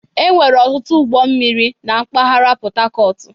Enwere ọtụtụ ụgbọ mmiri na mpaghara Pọtakọọtụ.